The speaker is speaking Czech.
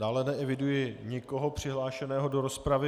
Dále neeviduji nikoho přihlášeného do rozpravy.